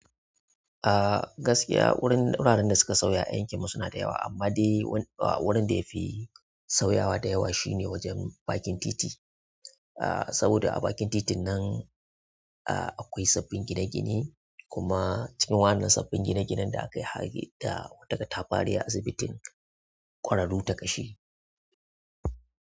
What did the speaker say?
Ah gaskiya wurin wuraren da suka sauya a yankin mu suna da yawa amma dai wani wurin da ya fi sauyawa da yawa shine wajen bakin titi. Ah saboda a bakin titin nan ah akwai sabbin gine-gine kuma cikin wannan sabbin gine-ginen da aka yi har da wata ƙatafari a asibitin kwararu ta kashi.